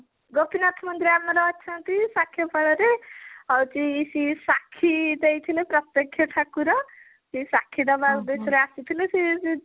ଗୋପୀନାଥ ମନ୍ଦିର ଆମର ଅଛିନ୍ତି ସାକ୍ଷୀଗୋପାଳ ରେ ହଉଛି ସି ସାକ୍ଷୀ ଦେଇଥିଲେ ପ୍ରତ୍ଯକ୍ଷ ଠାକୁର ସେ ସାକ୍ଷୀ ଦବା ଉଦ୍ୟେଶ ରେ ଆସିଥିଲେ ସେ ସେ